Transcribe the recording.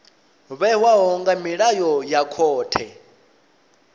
vhewaho nga milayo ya khothe